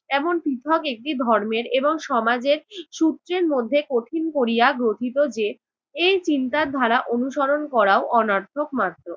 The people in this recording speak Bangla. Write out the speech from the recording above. এমন শিক্ষক একটি ধর্মের এবং সমাজের সূত্রের মধ্যে কঠিন করিয়া গ্রথিত যে, এই চিন্তার ধারা অনুসরণ করাও অনার্থক মাত্র।